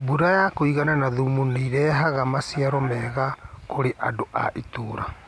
Mbũra ya kũigana na thumu nĩirehaga maciaro mega kũrĩandũ a itura